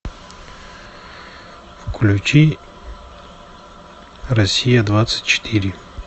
включи россия двадцать четыре